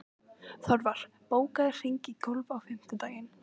Þorvar, bókaðu hring í golf á fimmtudaginn.